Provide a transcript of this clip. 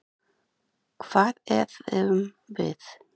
Hvað eðum við?